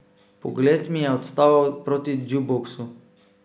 Pogled mi je odtaval proti džuboksu.